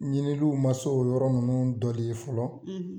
Ɲininliw ma se o yɔrɔ nunnu dɔ de ye fɔlɔ